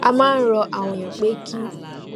a máa ń rọ àwọn ènìyàn pé kí